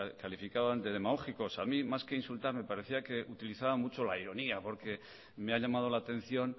calificaban de demagógicos a mí más que insultar me parecía que utilizaban mucho la ironía porque me ha llamado la atención